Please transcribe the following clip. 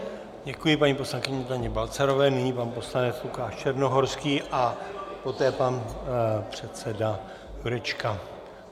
Děkuji paní poslankyni Daně Balcarové, nyní pan poslanec Lukáš Černohorský a poté pan předseda Jurečka.